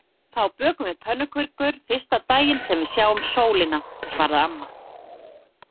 Þá bökum við pönnukökur fyrsta daginn sem við sjáum sólina svaraði amma.